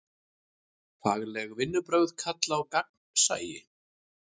Fagleg vinnubrögð kalla á gagnsæi.